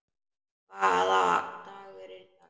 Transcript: Hvaða dagur er í dag?